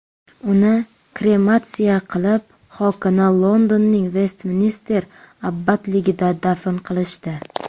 Uni krematsiya qilib, xokini Londonning Vestminster abbatligida dafn qilishdi.